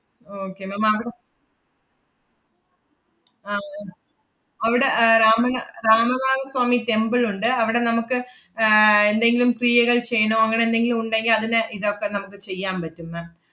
okay ma'am ആഹ് അവടെ ഏർ രാമയ്യ~ രാമനാഥ സ്വാമി temple ഉണ്ട്. അവടെ നമ്മുക്ക് ഏർ എന്തെങ്കിലും ക്രിയകൾ ചെയ്യണോ അങ്ങനെന്തെങ്കിലും ഉണ്ടെങ്കി അതിനെ ഇതൊക്കെ നമ്മക്ക് ചെയ്യാമ്പറ്റും ma'am